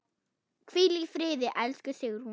Hvíl í friði, elsku Sigrún.